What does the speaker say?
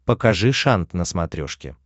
покажи шант на смотрешке